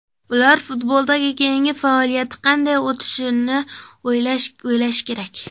Ular futboldagi keyingi faoliyati qanday o‘tishini o‘ylashi kerak.